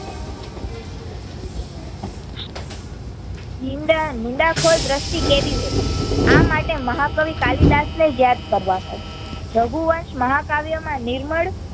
નિંદા~નિંદા ખોર દ્રષ્ટિ કેવી હોઈ આ માટે મહા કવિ કાલી દાસ ને જયારે યાદ રાખવા પડે રઘુવંશ મહા કાવ્ય માં નિર્મલ